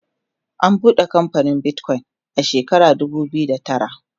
an buɗe kamfanin Bitcoin a shekara dubu biyu da tara